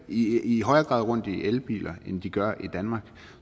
i i højere grad rundt i elbiler end de gør i danmark